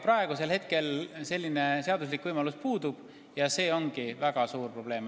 Praegu selline seaduslik võimalus puudub ja see ongi väga suur probleem.